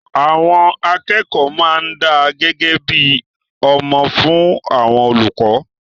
Àwọn akẹ́kọ̀ọ́ máa ń dá gẹ́gẹ́ bí ọmọ fún àwọn olùkọ́